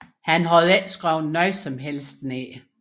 Han havde ikke skrevet noget som helst ned